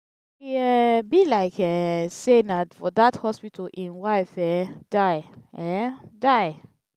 e um be like um say na for dat hospital im wife um die. um die.